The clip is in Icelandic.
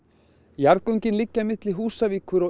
jarðgöngin liggja milli Húsavíkur og